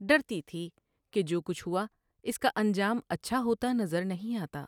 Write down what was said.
ڈرتی تھی کہ جو کچھ ہوا اس کا انجام اچھا ہوتا نظر نہیں آتا ۔